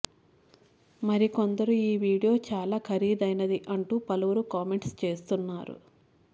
మరికొందరు ఈ వీడియో చాలా ఖరీదైనది అంటూ పలువురు కామెంట్స్ చేస్తున్నారు